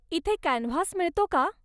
इथे कॅनव्हास मिळतो का?